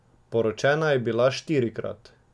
Poročena je bila štirikrat.